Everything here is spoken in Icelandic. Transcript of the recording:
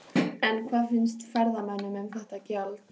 En hvað finnst ferðamönnum um þetta gjald?